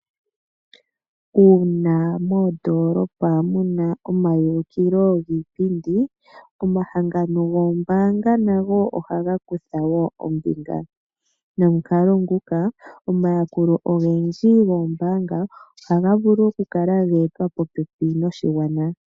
Uuna mondoolopa mu na omayulukilo giipindi, omahangano goombanga nago ohaga kutha wo ombinga nomukalo nguka omayakulo ogendji goombanga ohaga vulu okukala geetwa popepi noshigwana.